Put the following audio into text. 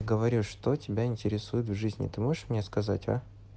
говорю что тебя интересует в жизни ты можешь мне сказать а